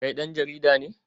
Kai dan jarida ne?